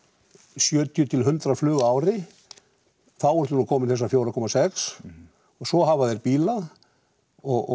sjötíu til hundrað flug á ári þá ertu nú komin í þessar fjórar komma sex og svo hafa þeir bíla og